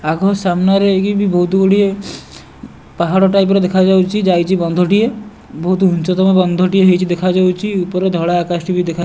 ଆଗ ସାମ୍ନାରେ ଇଏ ବି ବହୁତୁ ଗୁଡ଼ିଏ ପାହାଡ଼ ଟାଇପ ର ଦେଖାଯାଉଚି ଯାଇଚି ବନ୍ଧଟିଏ ବହୁତ୍ ଉଚ୍ଚତମ ବନ୍ଧଟିଏ ହେଇଚି ଦେଖାଯାଉଚି ଉପର ଧଳା ଆକାଶଟି ବି ଦେଖା --